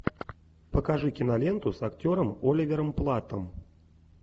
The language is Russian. покажи киноленту с актером оливером платтом